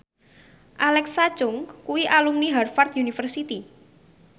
Alexa Chung kuwi alumni Harvard university